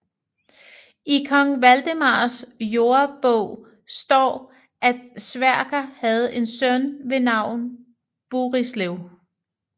I Kong Valdemars Jordebog står at Sverker havde en søn ved navn Burislev